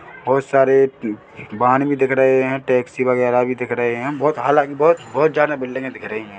बहुत सारे उप वाहन भी दिख रहे है टैक्सी वगैरा भी दिख रही है बहुत हालाँकि बहुत बहुत ज्यादा बिल्डिंगे दिख रही है।